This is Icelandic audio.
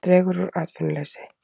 Dregur úr atvinnuleysi